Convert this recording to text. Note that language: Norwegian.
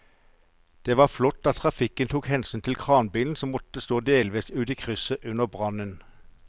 Det var flott at trafikken tok hensyn til at kranbilen måtte stå delvis ute i krysset under brannen.